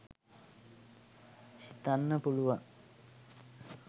හිතන්න පුළුවන්.